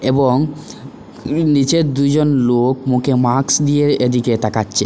এবং নীচের দুইজন লোক মুখে মাক্স দিয়ে এদিকে তাকাচচে।